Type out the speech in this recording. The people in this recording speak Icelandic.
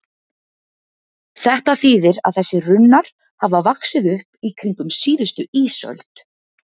Þetta þýðir að þessir runnar hafa vaxið upp í kringum síðustu ísöld.